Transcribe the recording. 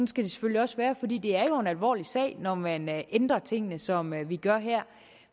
skal det selvfølgelig også være for det er jo en alvorlig sag når man ændrer tingene som vi gør her